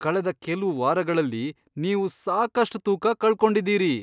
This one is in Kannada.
ಕಳೆದ ಕೆಲ್ವು ವಾರಗಳಲ್ಲಿ ನೀವು ಸಾಕಷ್ಟ್ ತೂಕ ಕಳ್ಕೊಂಡಿದ್ದೀರಿ!